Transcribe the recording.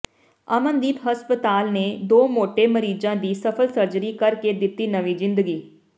ਅਮਨਦੀਪ ਹਸਪਤਾਲ ਨੇ ਦੋ ਮੋਟੇ ਮਰੀਜ਼ਾਾ ਦੀ ਸਫ਼ਲ ਸਰਜਰੀ ਕਰ ਕੇ ਦਿੱਤੀ ਨਵੀਂ ਜ਼ਿੰਦਗੀ